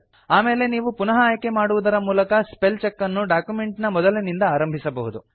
ಆಮೇಲೆ ನೀವು ಪುನಃ ಆಯ್ಕೆ ಮಾಡುವುದರ ಮೂಲಕ ಸ್ಪೆಲ್ ಚೆಕ್ ಅನ್ನು ಡಾಕ್ಯುಮೆಂಟ್ ನ ಮೊದಲಿನಿಂದ ಆರಂಭಿಸಬಹುದು